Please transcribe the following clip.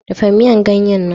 Dafa miyan ganye nan.